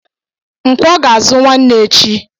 Nkwọ ga-azụ nwanne echi